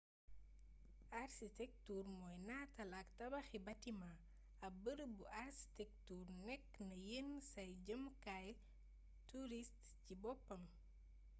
arsitektur mooy nataal ak tabax y batimaa ab bërëbu astektuur nekk na yenn saay jëmukaayu turist cii boppam